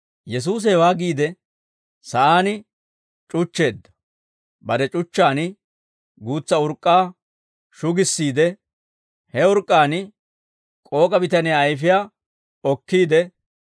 Yesuusi hewaa giide, sa'aan c'uchcheedda; bare c'uchchaan guutsa urk'k'aa shugissiide, he urk'k'aan k'ook'a bitaniyaa ayfiyaa okkiide,